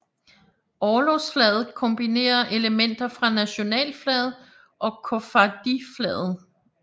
Orlogsflaget kombinerer elementer fra nationalflaget og koffardiflaget